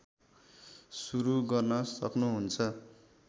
सुरू गर्न सक्नुहुन्छ